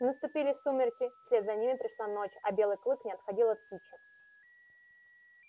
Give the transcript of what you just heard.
наступили сумерки вслед за ними пришла ночь а белый клык не отходил от кичи